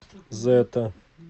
зэтта